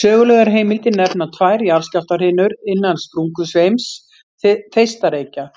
Sögulegar heimildir nefna tvær jarðskjálftahrinur innan sprungusveims Þeistareykja